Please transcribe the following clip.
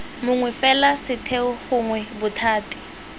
mongwe fela setheo gongwe bothati